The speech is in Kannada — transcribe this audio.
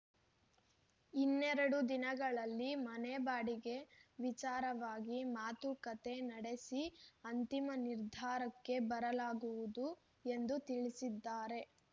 ಇನ್ನೆರಡು ದಿನಗಳಲ್ಲಿ ಮನೆ ಬಾಡಿಗೆ ವಿಚಾರವಾಗಿ ಮಾತುಕತೆ ನಡೆಸಿ ಅಂತಿಮ ನಿರ್ಧಾರಕ್ಕೆ ಬರಲಾಗುವುದು ಎಂದು ತಿಳಿಸಿದ್ದಾರೆ